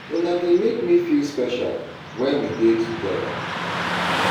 Una dey make me feel special when we dey together.